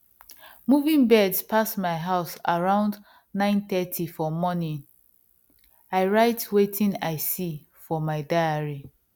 moving birds pass my house around nine thirty for morning i write wetin i see for my diary